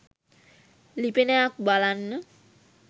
ලිපියනයක් බලන්න